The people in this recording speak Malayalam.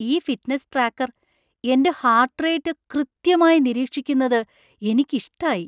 ഈ ഫിറ്റ്നസ് ട്രാക്കർ എന്‍റെ ഹാര്‍ട്ട്റേറ്റ് കൃത്യമായി നിരീക്ഷിക്കുന്നത് എനിക്കിഷ്ടായി.